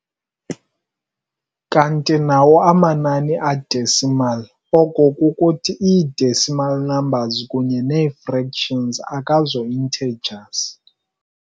Kanti nawo amanani a-decimal, oko kukuthi ii-decimal numbers kunye neefractions akazo-intergers.